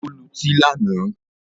Ó lutí lánàá